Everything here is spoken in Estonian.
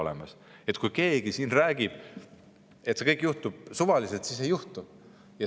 Nii et kui keegi siin räägib, et see kõik juhtub suvaliselt, siis ei juhtu.